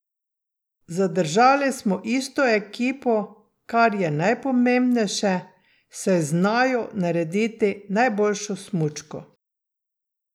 Zadržali smo isto ekipo, kar je najpomembnejše, saj znajo narediti najboljšo smučko.